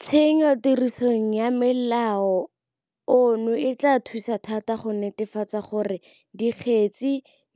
Tsenyotirisong ya molao ono e tla thusa thata go netefatsa gore dikgetse